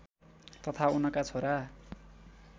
तथा उनका छोरा